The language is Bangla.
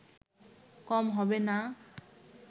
কম হবে না